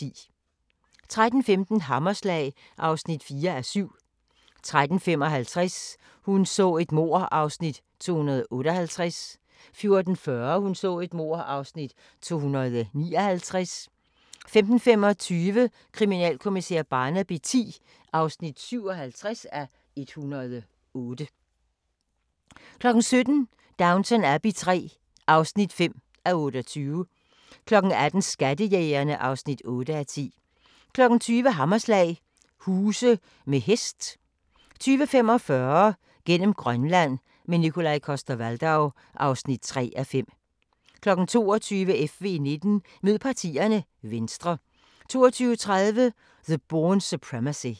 13:15: Hammerslag (4:7) 13:55: Hun så et mord (258:267) 14:40: Hun så et mord (259:267) 15:25: Kriminalkommissær Barnaby X (57:108) 17:00: Downton Abbey III (5:28) 18:00: Skattejægerne (8:10) 20:00: Hammerslag – huse med hest 20:45: Gennem Grønland – med Nikolaj Coster-Waldau (3:5) 22:00: FV19: Mød partierne – Venstre 22:30: The Bourne Supremacy